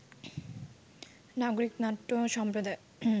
নাগরিক নাট্য সম্প্রদায়